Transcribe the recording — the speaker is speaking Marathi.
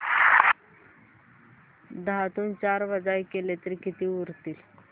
दहातून चार वजा केले तर किती उरतील